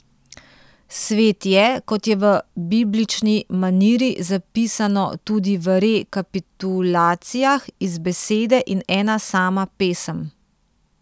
Svet je, kot je v biblični maniri zapisano tudi v Re kapitulacijah, iz besede in ena sama pesem.